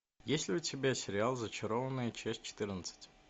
есть ли у тебя сериал зачарованные часть четырнадцать